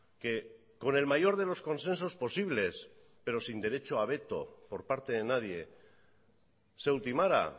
que con el mayor de los consensos posibles pero sin derecho a veto por parte de nadie se ultimara